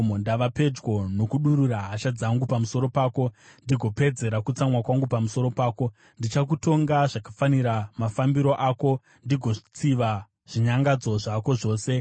Ndava pedyo nokudurura hasha dzangu pamusoro pako ndigopedzera kutsamwa kwangu pamusoro pako; ndichakutonga zvakafanira mafambiro ako ndigotsiva zvinyangadzo zvako zvose.